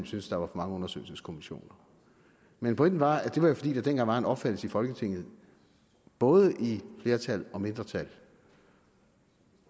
synes der var for mange undersøgelseskommissioner men pointen var at det var fordi der dengang var en opfattelse i folketinget både i flertal og mindretal